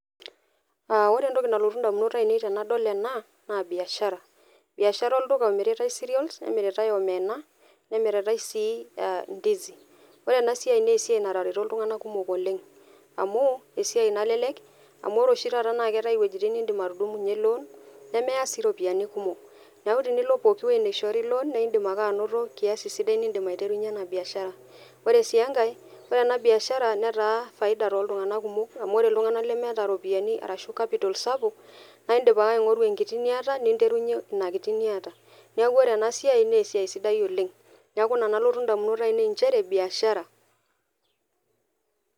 Aa ore entoki nalotu indamunot ainei tenadol ena naa biashara. Biashara olduka omiritae cereals, nemiritae, omena, nemiritae sii ndizi. Ore ena siai naa esiai natareto iltunganak kumok oleng amu esiai nalelek , amu ore oshi taata naa keetae iwuejitin nindim atudumunyie loan [c]nemeya sii iropiyiani kumok. Niaku tenilo pooki wuei naishoori loan naa indim ake anoto kiasi sidai nindim ake aiterunyie ena baishara . Ore sii enake , ore ena biashara netaa faida sapuk tooltunganak kumok ,amu iltunganak lemeeta iropiyiani ashu capital sapuk , naa indim ake aingoru enkiti niata , ninterunyie ina kiti niata . Niaku ore ena siai naa esiai sidai oleng, niaku ina nalotu indamunot ainei inchere biashara .